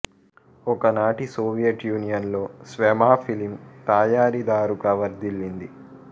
ఒకనాటి Soviet Union లో Svema film తయారీదారుగా వర్థిల్లింది